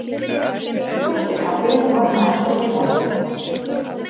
Fyrsti kaflinn var nær tilbúinn.